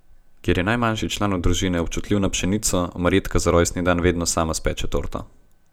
Ker je najmlajši član družine občutljiv na pšenico, Marjetka za rojstni dan vedno sama speče torto.